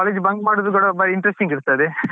Share ಮಾಡ್ಲಿಕ್ಕೆ ಎಲ್ಲ ಒಳ್ಳೇದ್.